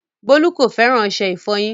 Bọlu kò fẹ́ran ọṣẹ̀-ìfọ́yin.